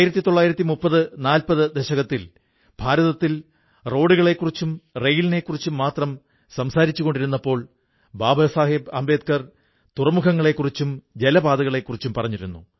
193040 ദശകത്തിൽ ഭാരതത്തിൽ റോഡുകളെക്കുറിച്ചും റെയിലിനെക്കുറിച്ചും മാത്രം സംസാരിച്ചുകൊണ്ടിരുന്നപ്പോൾ ബാബാ സാഹബ് അംബേദ്കർ തുറമുഖങ്ങളെക്കുറിച്ചും ജലപാതകളെക്കുറിച്ചും പറഞ്ഞിരുന്നു